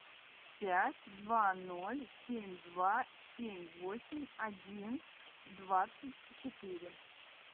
пять два ноль семь два семь восемь один двадцать четыре